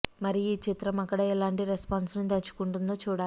మరి ఈ చిత్రం అక్కడ ఎలాంటి రెస్పాన్స్ ను తెచ్చుకుంటుందో చూడాలి